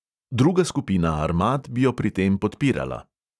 Druga skupina armad bi jo pri tem podpirala.